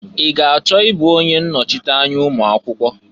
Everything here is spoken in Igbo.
I ga achọ ị bụ onye nnọchịanya ụmụakwụkwọ?